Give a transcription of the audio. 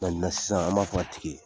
sisan an m'a f'a tigi ye